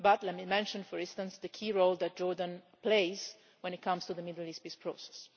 But let me mention, for instance, the key role that Jordan plays when it comes to the Middle East peace process.